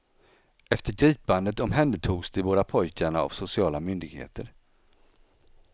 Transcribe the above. Efter gripandet omhändertogs de båda pojkarna av sociala myndigheter.